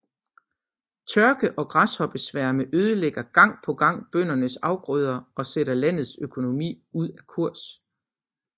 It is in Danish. Tørke og græshoppesværme ødelægger gang på gang bøndernes afgrøder og sætter landets økonomi ud af kurs